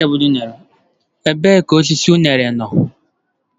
Ebee ka osisi unere no?.